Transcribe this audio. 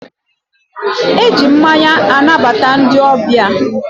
e ji mmanya anabata ndị ọbịa.